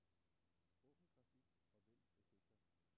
Åbn grafik og vælg effekter.